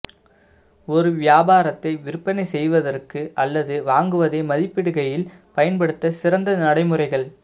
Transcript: ஒரு வியாபாரத்தை விற்பனை செய்வதற்கு அல்லது வாங்குவதை மதிப்பிடுகையில் பயன்படுத்த சிறந்த நடைமுறைகள்